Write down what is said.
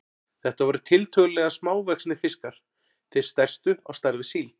Þetta voru tiltölulega smávaxnir fiskar, þeir stærstu á stærð við síld.